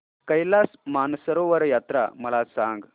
कैलास मानसरोवर यात्रा मला सांग